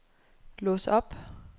lås op